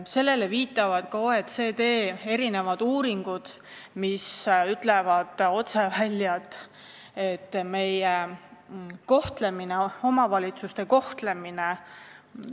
Sellele viitavad ka OECD uuringud, mis ütlevad otse välja, et meil on omavalitsuste kohtlemine triviaalne.